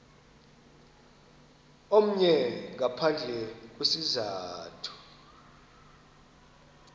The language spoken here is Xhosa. omnye ngaphandle kwesizathu